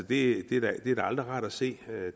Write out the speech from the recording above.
det er da aldrig rart at se